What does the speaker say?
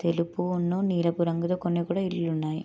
తెలుపు నీలపు రంగుతో కొన్న ఇళ్లులు కూడా ఉన్నాయి